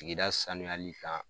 Tigida sanuyali kan